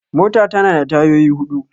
Mota tana da tayoyi huɗu